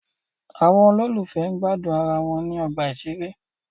Àwọn olólùfẹ́ gbádùn ara wọn ní ọgbà ìṣeré.